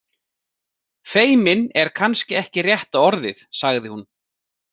Feiminn er kannski ekki rétta orðið, sagði hún.